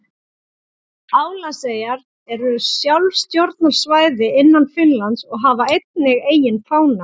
Álandseyjar eru sjálfstjórnarsvæði innan Finnlands og hafa einnig eigin fána.